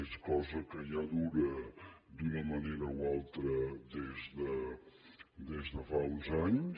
és una cosa que ja dura d’una manera o altra des de fa uns anys